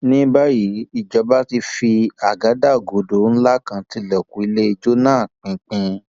ní báyìí ìjọba ti fi àgádágodo ńlá kan tilẹkùn ilé ijó náà pinpin